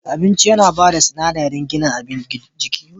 Abinci yana ba da sinadari gina jikinmu.